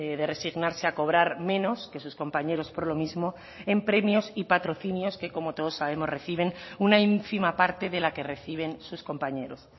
de resignarse a cobrar menos que sus compañeros por lo mismo en premios y patrocinios que como todos sabemos reciben una ínfima parte de la que reciben sus compañeros